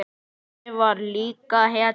Addi var líka hetja.